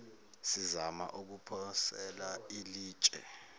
sizama ukuphosela ilitshe